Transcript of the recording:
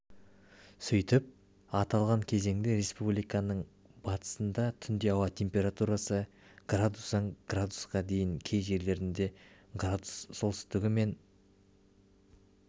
сөйтіп аталған кезеңде республиканың батысында түнде ауа температурасы градустан градусқа дейін кей жерлерінде градус солтүстігі мен